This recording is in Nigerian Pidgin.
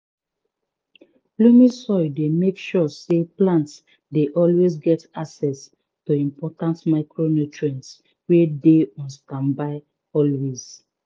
loamy soil dey make sure say plants dey always get access to important micronutrients wey dey on standby always